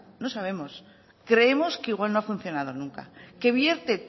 no sabemos creemos que igual no ha funcionado nunca que vierte